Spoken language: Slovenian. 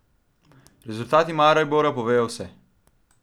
Rezultati Maribora povejo vse.